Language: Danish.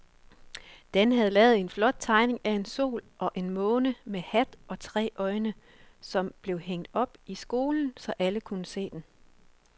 Dan havde lavet en flot tegning af en sol og en måne med hat og tre øjne, som blev hængt op i skolen, så alle kunne se den.